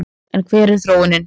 En hver er þróunin?